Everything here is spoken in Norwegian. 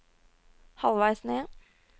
halvveis ned